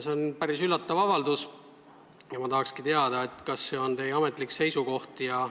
See on päris üllatav avaldus ja ma tahakski teada, kas see on teie ametlik seisukoht.